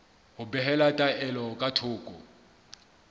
ho behela taelo ka thoko